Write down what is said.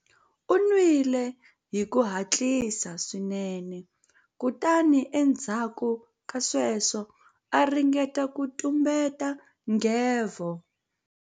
U nwile hi ku hatlisa swinene kutani endzhaku ka sweswo a ringeta ku tumbeta nghevo.